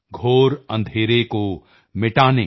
ਘੋਰ ਅੰਧੇਰੇ ਕੋ ਮਿਟਾਨੇ